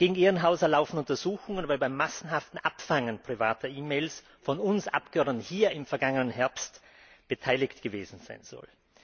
Gegen Ehrenhauser laufen Untersuchungen, weil er am massenhaften Abfangen privater E Mails von uns Abgeordneten hier im vergangenen Herbst beteiligt gewesen sein soll.